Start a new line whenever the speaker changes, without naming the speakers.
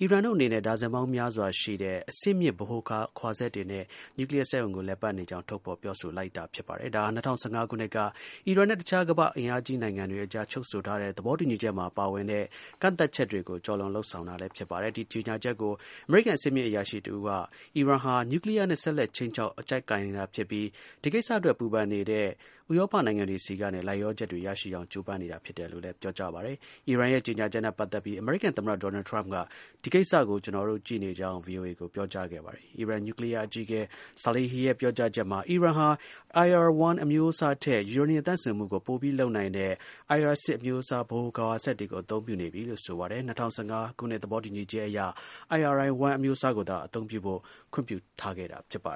အီရန်တို့အနေနဲ့ ဒါဇင်ပေါင်းများစွာ ရှိတဲ့ အဆင့်မြင့် ဗဟိုခွာစက်တွေနဲ့ နျူးကလီးယား စက်ရုံကို လည်ပတ်နေကြောင်း ထုတ်ဖော် ပြောဆိုလိုက်တာ ဖြစ်ပါတယ်။ ဒါဟာ ၂၀၁၅ ခုနှစ်က အီရန်နဲ့ တစ်ခြား ကမ္ဘာ့ အင်အားကြီးနိုင်ငံတွေအကြား ချုပ်ဆိုထားတဲ့ သဘောတူညီချက်မှာ ပါဝင်တဲ့ ကန့်သတ်ချက်တွေကို ကျော်လွန်လုပ်ဆောင်တာလည်း ဖြစ်ပါတယ်။ ဒီ ကြေညာချက်ကို အမေရိကန် အဆင့်မြင့် အရာရှိတစ်ဦးက အီရန်ဟာ နျူးကလီးယားနဲ့ ဆက်လက် ခြိမ်းခြောက် အကျပ်ကိုင်နေတာ ဖြစ်ပြီး ဒီကိစ္စအတွက် စိတ်ပူပန်နေတဲ့ ဥရောပနိုင်ငံတွေဆီကနေ လိုက်လျောချက်တွေ ရရှိအောင် ကြိုးပမ်းနေတာ ဖြစ်တယ်လို့လည်း ပြောပါတယ်။ အီရန်ရဲ့ ကြေညာချက်နဲ့ပတ်သက်ပြီး အမေရိကန် သမ္မတ ဒေါ်နယ်ထရမ့်က ဒီကိစ္စကို ကျွန်တော်တို့ ကြည့်နေကြောင်း VOA ကို ပြောကြားခဲ့ပါတယ်။ အီရန် နျူးကလီးယား အကြီးအကဲ Saleihi ရဲ့ ပြောကြားချက်မှာ အီရန်ဟာ IR-1 အမျိုးအစားထက် ယူရေနီယံ သန့်စင်မှုကို ပိုပြီးလုပ်နိုင်တဲ့ IR-6 အမျိုုးအစား ဗဟိုခွာစက်တွေကို အသုံးပြုနေပြီလို့ ဆိုပါတယ်။ ၂၀၁၅ သဘောတူချက်က IR-1 အမျိုးအစားကိုသာ အသုံးပြုဖို့ ခွင့်ပြု
ထားခဲ့တာပါ